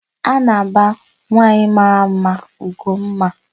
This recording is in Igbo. A na-aba nwanwaanyị mara mma Ugomma.